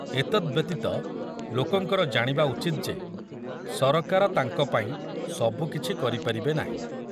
ଏତଦ୍ ବ୍ୟତୀତ ଲୋକଙ୍କର ଜାଣିବା ଉଚିତ ଯେ ସରକାର ତାଙ୍କ ପାଇଁ ସବୁକିଛି କରିପାରିବେ ନାହିଁ।